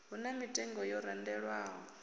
hu na mitengo yo randelwaho